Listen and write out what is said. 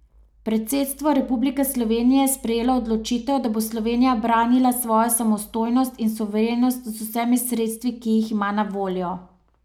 Predsedstvo Republike Slovenije je sprejelo odločitev, da bo Slovenija branila svojo samostojnost in suverenost z vsemi sredstvi, ki jih ima na voljo.